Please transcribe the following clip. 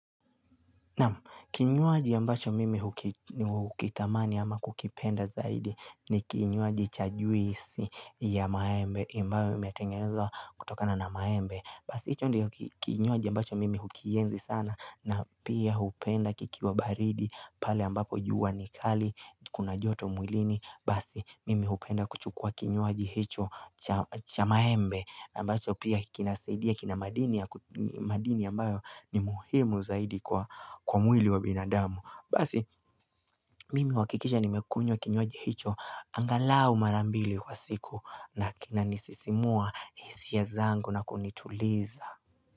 Kinywaji ambacho mimi hukitamani ama kukipenda zaidi ni kinywaji cha juisi ya maembe, ambayo imetengenezwa kutokana na maembe. Basi hicho ndicho kinywaji ambacho mimi hukienzi sana na pia hupenda kikiwa baridi pale ambapo jua ni kali kuna joto mwilini basi mimi hupenda kuchukua kinywaji hicho cha maembe ambacho pia kinasaidia kina madini ambayo ni muhimu zaidi kwa mwili wa binadamu basi mimi huhakikisha nimekunywa kinywaji hicho angalau mara mbili kwa siku na kinanisisimua hisia zangu na kunituliza.